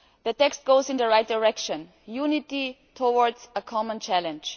The text goes in the right direction unity towards a common challenge.